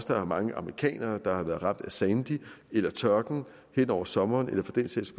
der er mange amerikanere der har været ramt af sandy eller tørken hen over sommeren eller for den sags